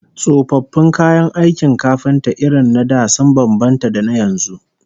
Tsofaffin kayan aikin kafinta irin na da sun bambanta da na yanzu